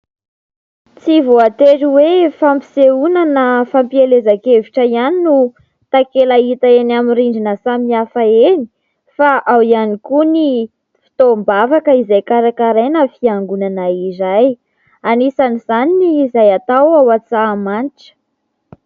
Tsy voatery hoe fampisehonana na fampielezan-kevitra ihany no takela hita eny amin' ny rindrina samihafa. Eny fa ao ihany koa ny fotoam-bavaka izay karakaraina fiangonana iray. Anisan' izany ny izay atao ao Antsahamanitra.